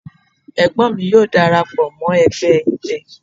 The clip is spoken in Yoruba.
Egbon mi yoo darapo mo egbe idẹ